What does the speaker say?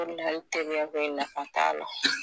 O de la teriya ko in nafa t'a la.